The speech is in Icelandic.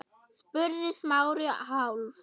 spurði Smári, hálf